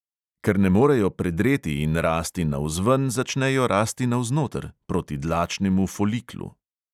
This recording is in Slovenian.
Ker je ne morejo predreti in rasti navzven, začnejo rasti navznoter, proti dlačnemu foliklu.